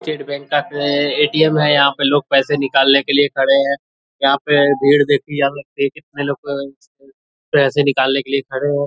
State bank का ATM. है यहाँ पे लोग पैसे निकालने के लिए खड़े है यहाँ पे भीड़ देखिए यहाँ पे कितने लोग पैसे निकालने के लिए खड़े हैं ।